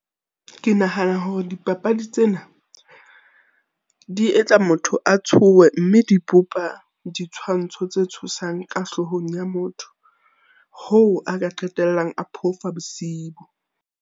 Ke nahana hore dipapadi tsena di etsa motho a tshohe mme ditshwantsho tse tshosang ka hloohong ya motho. Hoo, a ka qetellang a phofa bosiu.